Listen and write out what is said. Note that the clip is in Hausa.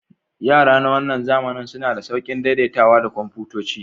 Yara na wannan zamanin suna da sauƙin daidaitawa da kwamfutoci.